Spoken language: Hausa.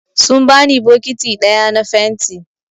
Sun bani bokiti ɗaya na fenti.